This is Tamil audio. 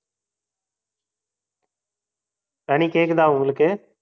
கனி கேக்குதா உங்களுக்கு?